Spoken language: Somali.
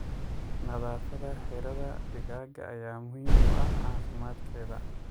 Nadaafadda xiradhaa digaaga ayaa muhiim u ah caafimaadkedha.